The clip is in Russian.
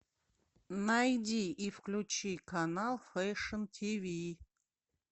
найди и включи канал фэшн тв